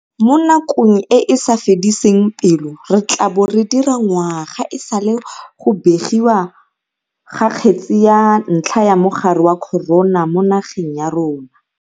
Mo nakong e e sa fediseng pelo re tla bo re dira ngwaga e sale go begiwa ga kgetse ya ntlha ya mogare wa corona mo nageng ya rona.